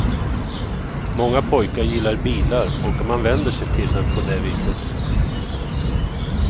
Många pojkar gillar bilar och man vänder sig till dem på det viset.